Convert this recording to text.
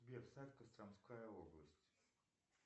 сбер сайт костромская область